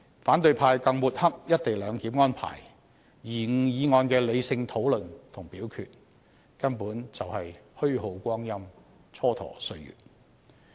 反對派更抹黑"一地兩檢"安排，延誤議案的理性討論和表決，根本是虛耗光陰、蹉跎歲月。